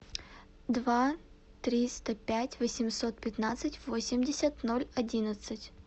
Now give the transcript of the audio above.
два триста пять восемьсот пятнадцать восемьдесят ноль одиннадцать